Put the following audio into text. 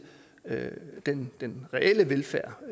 den den reelle velfærd